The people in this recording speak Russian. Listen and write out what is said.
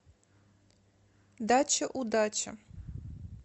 дача удача